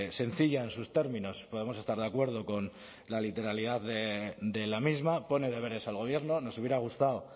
sencilla en sus términos podemos estar de acuerdo con la literalidad de la misma pone deberes al gobierno nos hubiera gustado